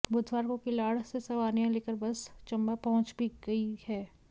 बुधवार को किलाड़ से सवारियां लेकर बस चंबा पहंुच भी गई है